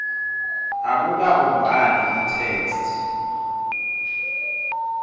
akukabumbani itheksthi